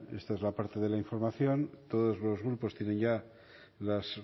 esta es la parte de la información todos los grupos tienen ya las